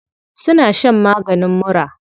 Suna shan maganin mura.